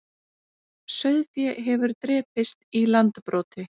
Sauðfé hefur drepist í Landbroti